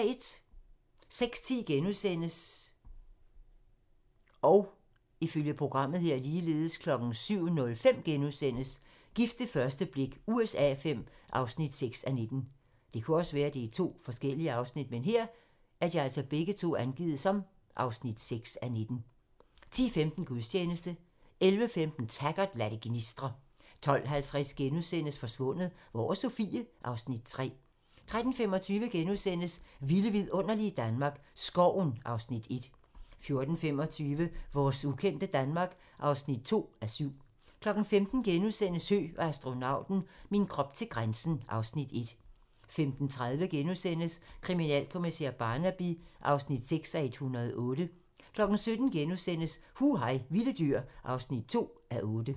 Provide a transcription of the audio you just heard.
06:10: Gift ved første blik USA V (6:19)* 07:05: Gift ved første blik USA V (6:19)* 10:15: Gudstjeneste 11:15: Taggart: Lad det gnistre 12:50: Forsvundet - Hvor er Sofie? (Afs. 3)* 13:25: Vilde vidunderlige Danmark - Skoven (Afs. 1)* 14:25: Vores ukendte Danmark (2:7) 15:00: Høgh og astronauten - min krop til grænsen (Afs. 1)* 15:30: Kriminalkommissær Barnaby (6:108)* 17:00: Hu hej vilde dyr (2:8)*